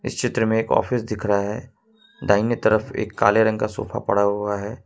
Shutter में एक office दिख रहा है दाहिने तरफ एक काले रंग का सोफा पड़ा हुआ है।